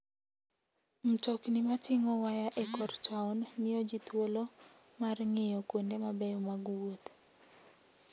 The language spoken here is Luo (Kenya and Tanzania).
Mtokni mating'o waya e kor taon miyo ji thuolo mar ng'iyo kuonde mabeyo mag wuoth.